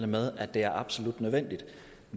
med at det er absolut nødvendigt